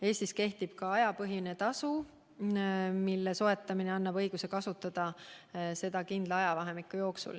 Eestis kehtib ka ajapõhine tasu, mis annab õiguse kasutada teed kindla ajavahemiku jooksul.